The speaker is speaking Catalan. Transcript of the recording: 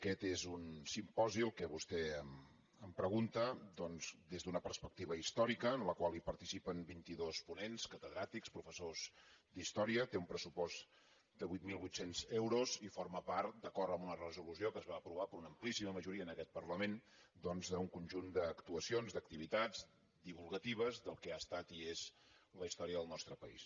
aquest és un simposi el que vostè em pregunta doncs des d’una perspectiva històrica en el qual participen vint·i·dos ponents cate·dràtics professors d’història té un pressupost de vuit mil vuit cents euros i forma part d’acord amb una resolució que es va aprovar per una amplíssima majoria en aquest parla·ment doncs d’un conjunt d’actuacions d’activitats di·vulgatives del que ha estat i és la història del nostre país